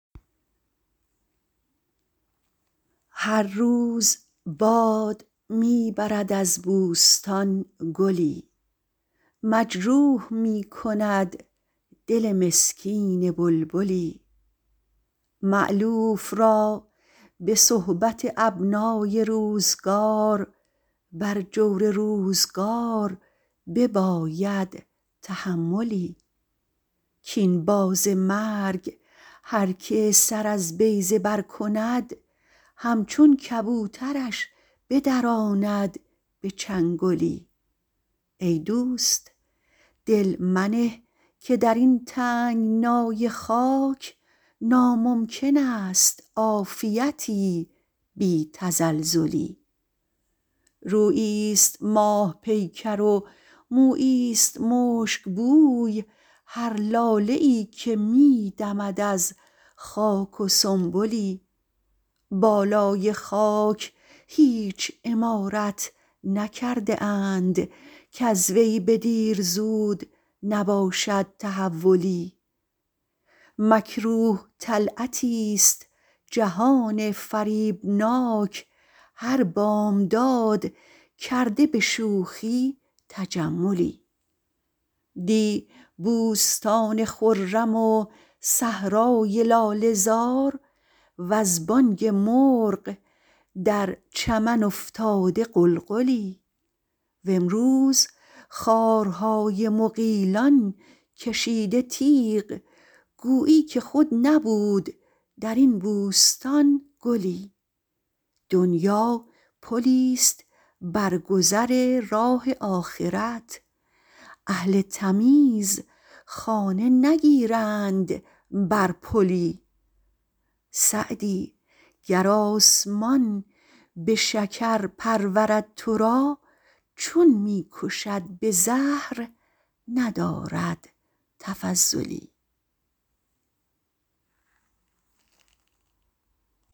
هر روز باد می برد از بوستان گلی مجروح می کند دل مسکین بلبلی مألوف را به صحبت ابنای روزگار بر جور روزگار بباید تحملی کاین باز مرگ هر که سر از بیضه بر کند همچون کبوترش بدراند به چنگلی ای دوست دل منه که در این تنگنای خاک ناممکن است عافیتی بی تزلزلی روییست ماه پیکر و موییست مشکبوی هر لاله ای که می دمد از خاک و سنبلی بالای خاک هیچ عمارت نکرده اند کز وی به دیر زود نباشد تحولی مکروه طلعتیست جهان فریبناک هر بامداد کرده به شوخی تجملی دی بوستان خرم و صحرای لاله زار وز بانگ مرغ در چمن افتاده غلغلی و امروز خارهای مغیلان کشیده تیغ گویی که خود نبود در این بوستان گلی دنیا پلیست بر گذر راه آخرت اهل تمیز خانه نگیرند بر پلی سعدی گر آسمان به شکر پرورد تو را چون می کشد به زهر ندارد تفضلی